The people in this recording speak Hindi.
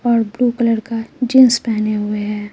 और ब्लू कलर का जींस पहने हुए है।